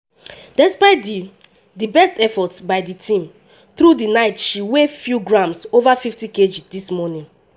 “despite di di best efforts by di team through di night she weigh few grams ova 50kg dis morning.”